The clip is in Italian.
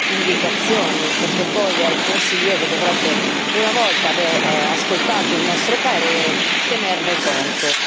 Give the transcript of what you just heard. indicazioni, perché poi è il Consiglio che dovrebbe, una volta ascoltato il nostro parere, tenerne conto.